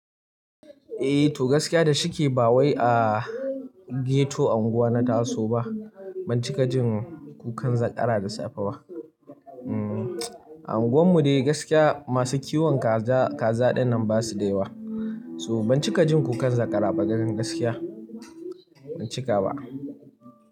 Eh to gaskiya da shike ba wai a ghetto unguwa na Taso ba, ban cika jin kukan zakara da safe ba. Anguwan mu dai gaskiya masu kiwon kaza, kaza dinnan basu da yawa. So ban cika jin kukan zakara ba dan gaskiya, ban cika ba.